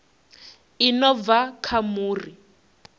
i no bva kha muri